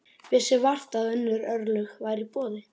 Vissi vart að önnur örlög væru í boði.